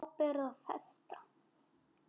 Ábyrgð og festa